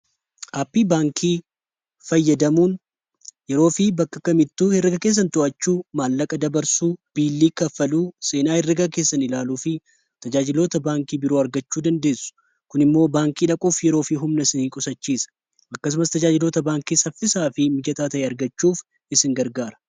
aappii baankii fayyadamuun yeroo fi bakka kamittuu erga keessan to'achuu, maallaqa dabarsuu, biillii kaffaluu seenaa erga keessan ilaaluu fi tajaajiloota baankii biroo argachuu dandeessu. kun immoo baankii dhaquuf yeroo fi humna isinii qusachiisa akkasumas tajaajilota baankii saffisaa fi mijataa tahe argachuuf isin gargaara.